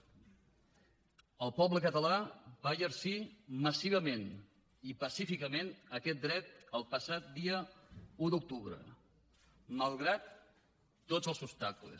el poble català va exercir massivament i pacíficament aquest dret el passat dia un d’octubre malgrat tots els obstacles